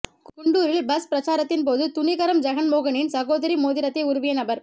குண்டூரில் bus பிரசாரத்தின்போது துணிகரம் ஜெகன் மோகனின் சகோதரி மோதிரத்தை உருவிய நபர்